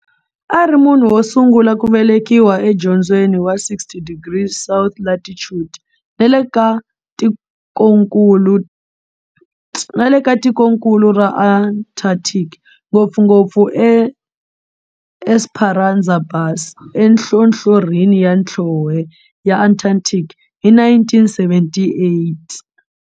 A ri munhu wo sungula ku velekiwa e dzongeni wa 60 degrees south latitude nale ka tikonkulu ra Antarctic, ngopfungopfu eEsperanza Base enhlohlorhini ya nhlonhle ya Antarctic hi 1978.